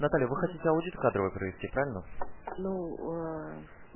наталья вы хотите аудит кадровый провести правильно ну